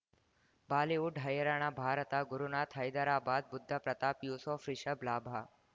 Bollywood ಹೈರಾಣ ಭಾರತ ಗುರುನಾಥ ಹೈದರಾಬಾದ್ ಬುಧ್ ಪ್ರತಾಪ್ ಯೂಸುಫ್ ರಿಷಬ್ ಲಾಭ